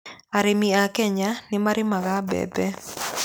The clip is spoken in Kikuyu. Arĩmi a Kenya nĩ marĩmaga mbembe.